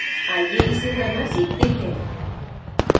आइए इसे करना सीखते हैं